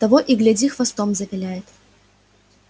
того и гляди хвостом завиляет